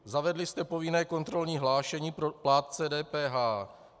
Zavedli jste povinné kontrolní hlášení pro plátce DPH.